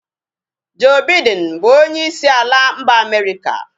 Joe Biden bụ onyeisi ala mba America